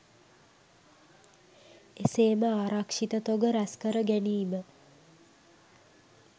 එසේම ආරක්ෂිත තොග රැස්කර ගැනීම